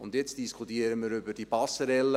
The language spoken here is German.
Und jetzt diskutieren wir über diese Passerelle.